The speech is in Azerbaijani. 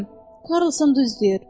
Pülüm, Karlson düz deyir.